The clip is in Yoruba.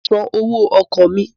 Mà á san owó ọkọ̀ mi.